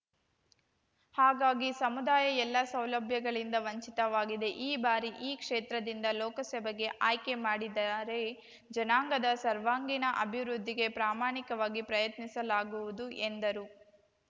ಹಾಗಾಗಿ ಸಮುದಾಯ ಎಲ್ಲ ಸೌಲಭ್ಯಗಳಿಂದ ವಂಚಿತವಾಗಿದೆ ಈ ಬಾರಿ ಈ ಕ್ಷೇತ್ರದಿಂದ ಲೋಕಸಭೆಗೆ ಆಯ್ಕೆ ಮಾಡಿದಾರೆ ಜನಾಂಗದ ಸರ್ವಾಂಗೀಣ ಅಭಿವೃದ್ಧಿಗೆ ಪ್ರಾಮಾಣಿಕವಾಗಿ ಪ್ರಯತ್ನಿಸಲಾಗುವುದು ಎಂದರು